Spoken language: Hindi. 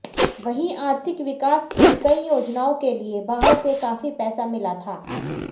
वहीं आर्थिक विकास की कई योजनाओं के लिए बाहर से काफी पैसा मिला था